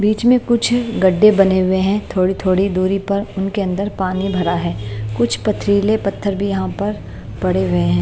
बीच में कुछ गड्ढे बने हुए हैं थोड़ी-थोड़ी दूरी पर उनके अंदर पानी भरा है कुछ पथरीले पत्थर भी यहां पर पड़े हुए हैं।